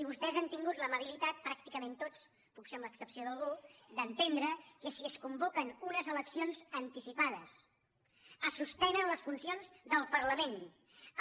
i vostès han tingut l’amabilitat pràcticament tots potser amb l’excepció d’algú d’entendre que si es convoquen unes eleccions anticipades es suspenen les funcions del parlament